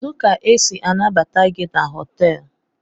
Kedu ka esi anabata GI na hotelu?